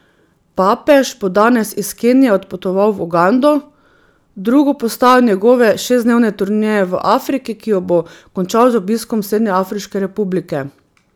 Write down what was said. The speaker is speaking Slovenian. Papež bo danes iz Kenije odpotoval v Ugando, drugo postajo njegove šestdnevne turneje v Afriki, ki jo bo končal z obiskom Srednjeafriške republike.